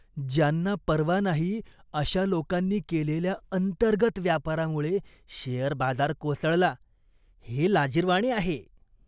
ज्यांना पर्वा नाही अशा लोकांनी केलेल्या अंतर्गत व्यापारामुळे शेअर बाजार कोसळला, हे लाजिरवाणे आहे.